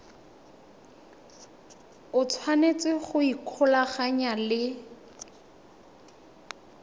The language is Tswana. o tshwanetse go ikgolaganya le